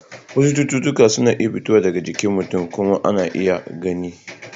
Wasu cututtuka suna fitowa daga jikin mutum kuma ana iya gani.